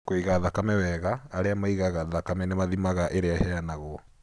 Kũiga thakame wega, arĩa maigaga thakame nĩ mathimaga ĩrĩa ĩheanagwo.